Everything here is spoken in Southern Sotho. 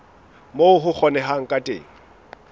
moo ho kgonehang ka teng